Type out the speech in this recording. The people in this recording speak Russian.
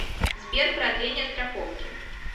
сбер продление страховки